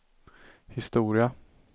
historia